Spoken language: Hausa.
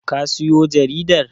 ka siyo jaridar?